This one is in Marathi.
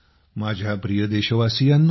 माझ्या प्रिय देशवासियांनो